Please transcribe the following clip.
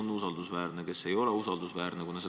Kes on usaldusväärne ja kes ei ole usaldusväärne?